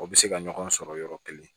O bɛ se ka ɲɔgɔn sɔrɔ yɔrɔ kelen